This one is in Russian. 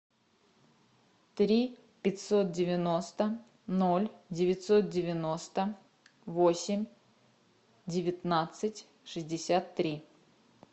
три пятьсот девяносто ноль девятьсот девяносто восемь девятнадцать шестьдесят три